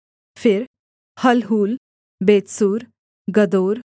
फिर Halhul Bethzur गदोर